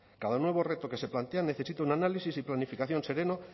cada nuevo reto que se plantea necesita un análisis y planificación sereno